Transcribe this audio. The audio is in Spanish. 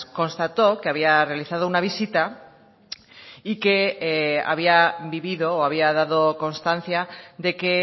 constató que había realizado una visita y que había vivido o había dado constancia de que